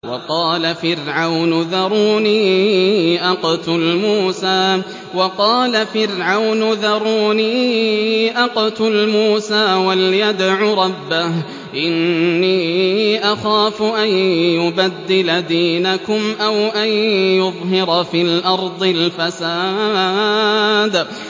وَقَالَ فِرْعَوْنُ ذَرُونِي أَقْتُلْ مُوسَىٰ وَلْيَدْعُ رَبَّهُ ۖ إِنِّي أَخَافُ أَن يُبَدِّلَ دِينَكُمْ أَوْ أَن يُظْهِرَ فِي الْأَرْضِ الْفَسَادَ